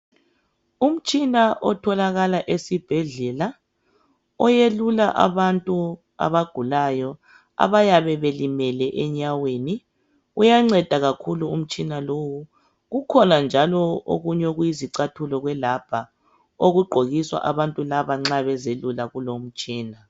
Umtshina otholakala esibhedlela oyelula abantu abagulayo abayabe belimele enyaweni uyanceda kakhulu umtshina lowu kukhona njalo okunye okuyizicathulo kwelabha okugqokiswa abantu laba nxa bezelula kulomtshina.